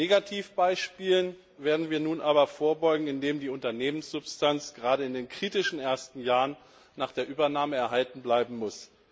Negativbeispielen werden wir nun aber vorbeugen, indem die Unternehmenssubstanz gerade in den kritischen ersten Jahren nach der Übernahme erhalten bleiben muss.